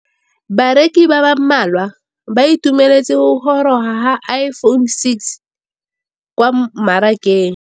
Bareki ba ba malwa ba ituemeletse go gôrôga ga Iphone6 kwa mmarakeng.